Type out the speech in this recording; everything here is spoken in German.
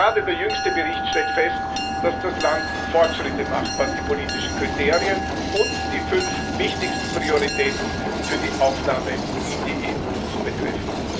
Gerade der jüngste Bericht stellt fest, dass das Land Fortschritte macht, was die politischen Kriterien und die fünf wichtigsten Prioritäten für die Aufnahme in die EU betrifft.